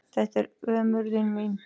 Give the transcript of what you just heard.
Þetta er ömurðin mín.